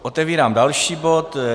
Otevírám další bod.